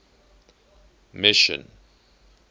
mission